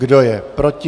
Kdo je proti?